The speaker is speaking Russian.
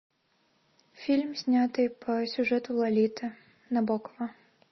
фильм снятый по сюжету лолиты набокова